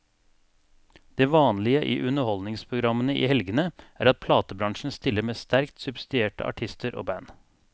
Det vanlige i underholdningsprogrammene i helgene er at platebransjen stiller med sterkt subsidierte artister og band.